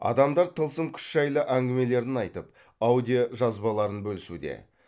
адамдар тылсым күш жайлы әңгімелерін айтып аудиожазбаларын бөлісуде